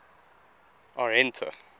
arhente